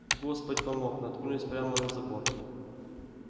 господь помог наткнулись прямо на забор